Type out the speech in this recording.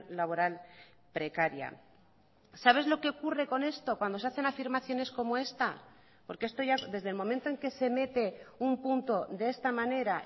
laboral precaria sabes lo que ocurre con esto cuando se hacen afirmaciones como esta porque esto ya desde el momento en que se mete un punto de esta manera